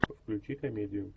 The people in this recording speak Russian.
включи комедию